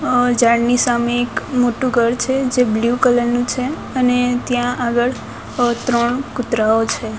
અ ઝાડની સામે એક મોટુ ઘર છે જે બ્લુ કલર નુ છે અને ત્યાં આગળ અ ત્રણ કૂતરાઓ છે.